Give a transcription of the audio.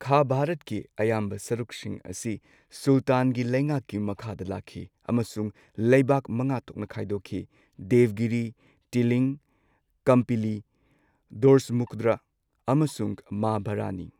ꯈꯥ ꯚꯥꯔꯠꯀꯤ ꯑꯌꯥꯝꯕ ꯁꯔꯨꯛꯁꯤꯡ ꯑꯁꯤ ꯁꯨꯜꯇꯥꯟꯒꯤ ꯂꯩꯉꯥꯛꯀꯤ ꯃꯈꯥꯗ ꯂꯥꯛꯈꯤ ꯑꯃꯁꯨꯡ ꯂꯩꯕꯥꯛ ꯃꯉꯥ ꯊꯣꯛꯅ ꯈꯥꯏꯗꯣꯛꯈꯤ ꯗꯦꯚꯒꯤꯔꯤ, ꯇꯤꯂꯤꯡ, ꯀꯝꯄꯤꯂꯤ, ꯗꯣꯔꯁꯃꯨꯗ꯭ꯔ ꯑꯃꯁꯨꯡ ꯃꯥ ꯕꯔꯅꯤ꯫